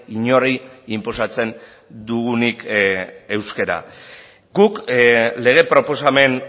inori inposatzen dugunik euskara guk lege proposamen